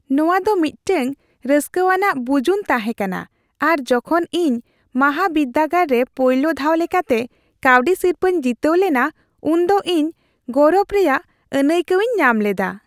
ᱱᱚᱣᱟ ᱫᱚ ᱢᱤᱫᱴᱟᱝ ᱨᱟᱹᱥᱠᱟᱹᱣᱟᱱᱟᱜ ᱵᱩᱡᱩᱱ ᱛᱟᱦᱮᱸ ᱠᱟᱱᱟ ᱟᱨ ᱡᱚᱠᱷᱚᱱ ᱤᱧ ᱢᱟᱦᱟᱵᱤᱨᱫᱟᱹᱜᱟᱲ ᱨᱮ ᱯᱳᱭᱞᱳ ᱫᱷᱟᱣ ᱞᱮᱠᱟᱛᱮ ᱠᱟᱹᱣᱰᱤ ᱥᱤᱨᱯᱟᱹᱧ ᱡᱤᱛᱟᱹᱣ ᱞᱮᱱᱟ ᱩᱱᱫᱚ ᱤᱧ ᱜᱚᱨᱚᱵᱽ ᱨᱮᱭᱟᱜ ᱟᱹᱱᱟᱹᱭᱠᱟᱹᱣᱤᱧ ᱧᱟᱢ ᱞᱮᱫᱟ ᱾